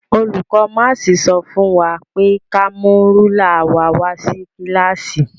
Olùkó máàsì sọ fún wa pé ka mú rúlà wa wá sí kílàsì.